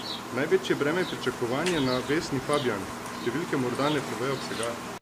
Največje breme pričakovanj je na Vesni Fabjan: 'Številke morda ne povejo vsega.